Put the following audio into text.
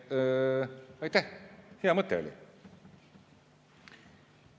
Aitäh, hea mõte oli!